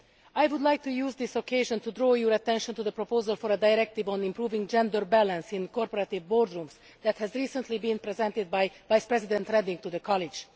Mr Barroso, I would like to use this occasion to draw your attention to the proposal for a directive on improving gender balance in corporate boardrooms that has recently been presented by Vice President Reding to the College.